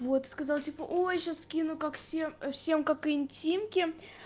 вот сказал типа ой сейчас скину как всем всем как интимки